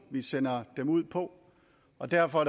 vi sender dem ud på og derfor